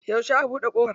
Yauce aka buɗe kofar?